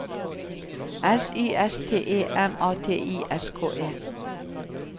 S Y S T E M A T I S K E